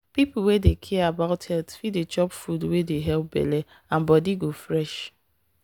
people wey care about health fit dey chop food wey dey help belle and body go fresh.